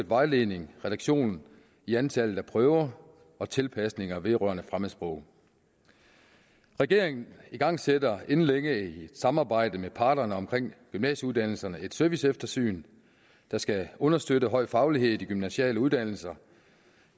vejledningen reduktion i antallet af prøver og tilpasninger vedrørende fremmedsprog regeringen igangsætter inden længe et samarbejde med parterne omkring gymnasieuddannelserne et serviceeftersyn der skal understøtte høj faglighed i de gymnasiale uddannelser